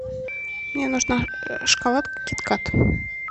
мне нужна шоколадка кит кат